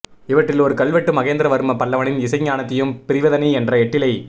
இவற்றில் ஒரு கல்வெட்டு மகேந்திர வர்ம பல்லவனின் இசை ஞானத்தையும் பிரிவதனி என்ற எட்டிழை